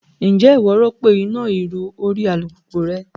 Ǹjẹ́ ìwọ rọ́pò iná ìrù orí alùpùpù rẹ rí?